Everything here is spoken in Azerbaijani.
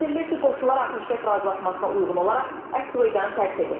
Bildirilir ki, qoşunlar atəşkəs razılaşmasına uyğun olaraq əs-Süveydanı tərk edir.